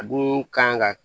A dun kan ka